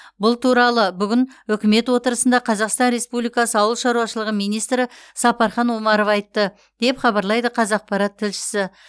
бұл туралы бүгін үкімет отырысында қазақстан республикасы ауыл шаруашылығы министрі сапархан омаров айтты деп хабарлайды қазақпарат тілшісі